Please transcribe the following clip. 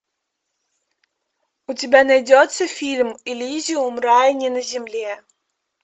у тебя найдется фильм элизиум рай не на земле